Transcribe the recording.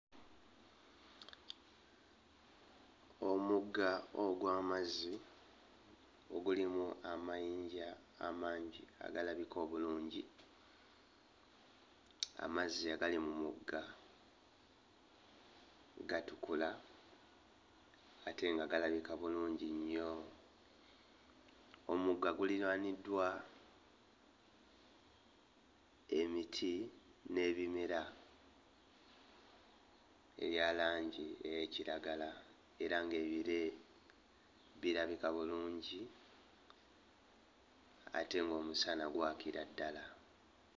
Omugga ogw'amazzi ogulimu amayinja amangi agalabika obulungi. Amazzi agali mu mugga gatukula ate nga galabika bulungi. Omugga guliraaniddwa emiti n'ebimera ebya langi ey'ekiragala era ng'ebire birabika bulungi ate ng'omusana gwakira ddala.